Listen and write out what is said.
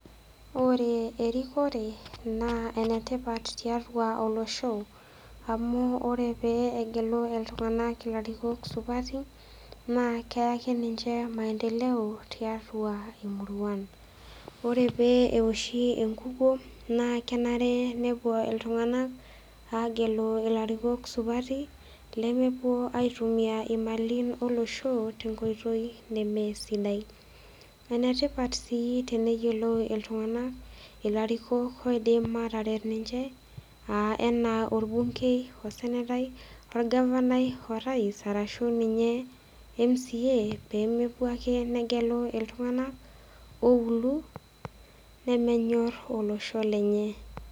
Ore erikore naa enetipat tiatua olosho. amu ore pee egelu iltunganak ilarikok sipati naa keyaki ninche maendeleo tiatua imuruan. ore pee enoshi enkukuo naa kenare nepuo iltunganak aagelu ilarikoko supati, nemepuo aitumia imalin olosho tenkoitoi nemesidai. ene tipat sii teniyiolou iltunganak ilarikok oidim aataret ninche aa anaa olbunkei osenetai, olgavanai orais arashu ninye mca pee mepuo ake negelu iltunganak ooulu nemenyor olosho lenye.